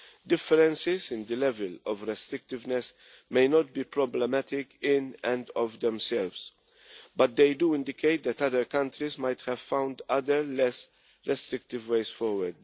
Differences in the level of restrictiveness may not be problematic in and of themselves, but they do indicate that other countries might have found other less restrictive ways forward.